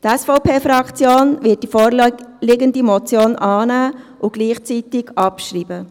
Die SVP-Fraktion wird die vorliegende Motion annehmen und gleichzeitig abschreiben.